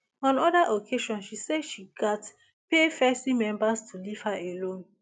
on oda occasions she say she gatz pay fesci members to leave her alone